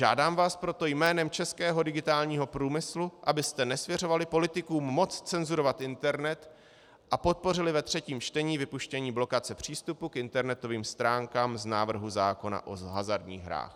Žádám vás proto jménem českého digitálního průmyslu, abyste nesvěřovali politikům moc cenzurovat internet a podpořili ve třetím čtení vypuštění blokace přístupu k internetovým stránkám z návrhu zákona o hazardních hrách."